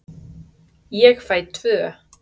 Ég fæ tvö.